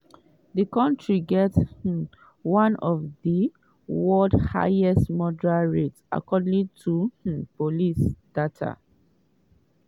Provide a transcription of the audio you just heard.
di kontri get um one of di world highest murder rates according to um police data.